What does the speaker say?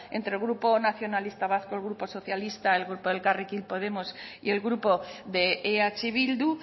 entre grupo nacionalistas vascos el grupo socialista el grupo elkarrekin podemos y el grupo de eh bildu